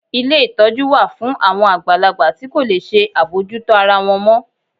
Ilé ìtọ́jú wa fún awon àgbàlagbà ti ko le ṣe abojuto ara wọn mọ